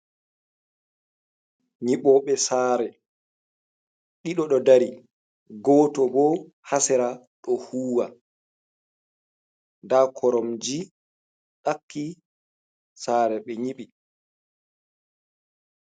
Nyiɓoɓe sare ɗiɗo ɗo ɗari goto ɓo hasera ɗo huwa ,ɗa koromji ɗaki sare ɓe nyiɓi.